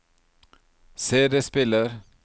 CD-spiller